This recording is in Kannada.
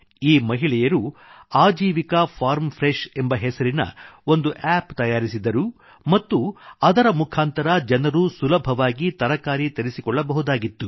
ಈ ಮಹಿಳೆಯರು Aajeevika farm fresh Aajeevika farm freshಎಂಬ ಹೆಸರಿನ ಒಂದು ಆಪ್ appತಯಾರಿಸಿದರು ಮತ್ತು ಅದರ ಮುಖಾಂತರ ಜನರು ಸುಲಭವಾಗಿ ತರಕಾರಿ ತರಿಸಿಕೊಳ್ಳಬಹುದಾಗಿತ್ತು